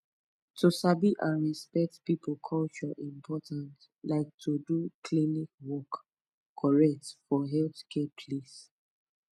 to sabi and respect people culture important like to do klinik work correct for healthcare place